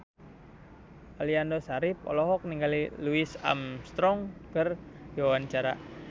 Aliando Syarif olohok ningali Louis Armstrong keur diwawancara